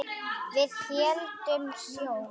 Við héldum sjó.